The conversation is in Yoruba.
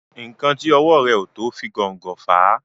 nkán tí owó rẹ o to o fi gón gò fà.